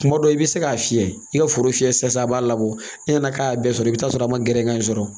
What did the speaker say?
Kuma dɔ i bɛ se k'a fiyɛ i ka foro fiyɛ sisan a b'a labɔ e nana k'a y'a bɛɛ sɔrɔ i bɛ t'a sɔrɔ a ma gɛrɛ i sɔrɔ